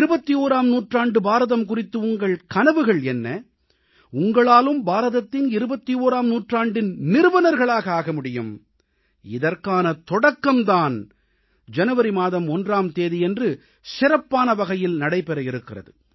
21ஆம் நூற்றாண்டு பாரதம் குறித்து உங்கள் கனவுகள் என்ன உங்களாலும் பாரதத்தின் 21ஆம் நூற்றாண்டின் நிறுவனர்களாக ஆக முடியும் இதற்கான தொடக்கம் தான் ஜனவரி மாதம் 1ஆம் தேதியன்று சிறப்பான வகையில் நடைபெற இருக்கிறது